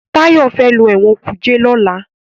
Tayo fè ló Ẹ̀wọ̀n kuje lọla.